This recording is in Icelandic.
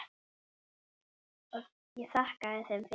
Ég þakkaði þeim fyrir.